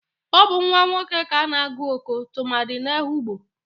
Ọ bu nwa nwoke ka ana-agụ Oko tụmadi n'Ehugbo.